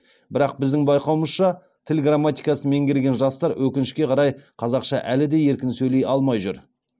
бірақ біздің байқауымызша тіл грамматикасын меңгерген жастар өкінішке қарай қазақша әлі де еркін сөйлей алмай жүр